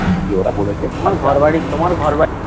ওরা বলেছে